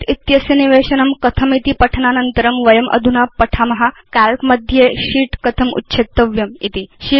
शीत् इत्यस्य निवेशनं कथमिति पठनानन्तरं वयमधुना पठाम काल्क मध्ये शीत् कथं उच्छेत्तव्यमिति